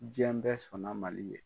Diɲɛ bɛɛ sɔnna Mali ye.